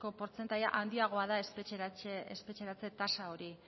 portzentaia handiagoa da espetxeratze tasa hori